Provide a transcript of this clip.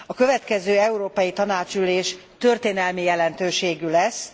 A következő Európai Tanácsülés történelmi jelentőségű lesz.